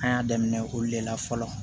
An y'a daminɛ olu de la fɔlɔ